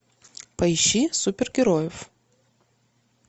поищи супергероев